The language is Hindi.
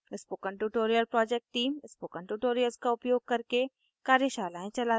spoken tutorial project team spoken tutorials का उपयोग करके कार्यशालाएं चलाती है